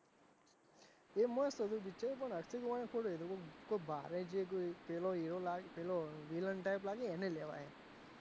એ મસ્ત હતું picture પણ અક્ષય કુમાર થોડો ભારે જે કોઈ પેલો હીરો પેલો villain type લાગે એને લેવાય,